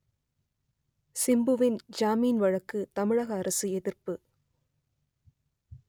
சிம்புவுக்கு ஜாமீன் வழங்க தமிழக அரசு எதிர்ப்பு